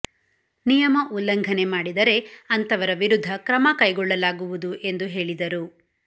ನಿಯಮ ಉಲ್ಲಂಘನೆ ಮಾಡಿದರೆ ಅಂತವರ ವಿರುದ್ಧ ಕ್ರಮ ಕೈಗೊಳ್ಳಲಾಗುವುದು ಎಂದು ಹೇಳಿದರು